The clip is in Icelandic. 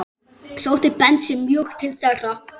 Sótti Bensi mjög til þeirra.